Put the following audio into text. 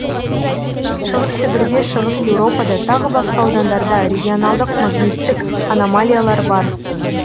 шығыс сібірде шығыс еуропада тағы басқа аудандарда регионалдық магниттік аномалиялар бар